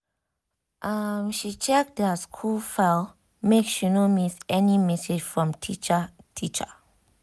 um she check their school file make she no miss any message from teacher teacher